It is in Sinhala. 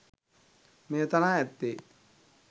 මෙය තනා ඇත්තේ